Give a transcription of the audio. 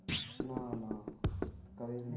ਨਾ ਨਾ ਕਦੇ ਨਹੀਂ